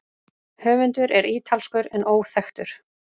Höfundur er ítalskur en óþekktur.